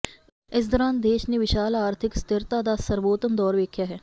ਇਸ ਦੌਰਾਨ ਦੇਸ਼ ਨੇ ਵਿਸ਼ਾਲ ਆਰਥਿਕ ਸਥਿਰਤਾ ਦਾ ਸਰਬੋਤਮ ਦੌਰ ਵੇਖਿਆ